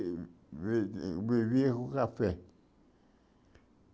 Vi vivia com café.